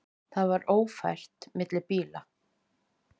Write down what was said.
Það var ófært fyrir bíla.